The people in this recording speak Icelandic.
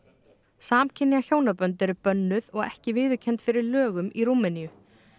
samkynja hjónabönd eru bönnuð og ekki viðurkennd fyrir lögum í Rúmeníu